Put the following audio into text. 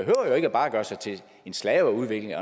jo ikke bare at gøre sig til en slave af udviklingen